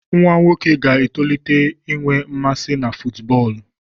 Nwa nwoke ga-etolite inwe mmasị na fútúbọọlu